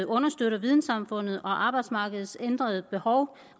understøtter vidensamfundet og arbejdsmarkedets ændrede behov